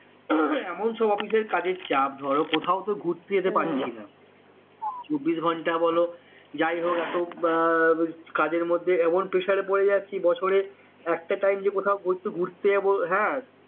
এখন তো office এ কাজের চাপ ধরো কোথাও তো ঘুরতে যেতে পারছিনা চবিস ঘন্টা বল যাইহোক আহ কাজের মধ্যে এমন pesher পড়ে যাচ্ছে বছরে একটা time যে কোথাও ঘুরতে ঘুরতে যাব হ্যাঁ